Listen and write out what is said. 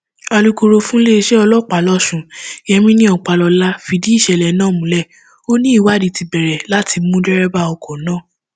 alūkkóró fúnléèṣẹ ọlọpàá lọsùn yemini ọpàlọlá fìdí ìṣẹlẹ náà múlẹ ó ní ìwádìí ti bẹrẹ láti mú dẹrẹbà ọkọ náà